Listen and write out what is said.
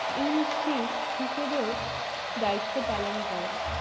হিসেবেও দায়িত্ত পালন করেন।